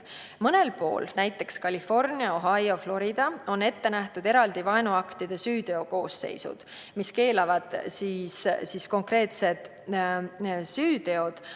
Mõnel pool, näiteks Californias, Ohios ja Floridas, on ette nähtud eraldi vaenuaktide süüteokoosseisud, mis keelavad konkreetsed süüteod.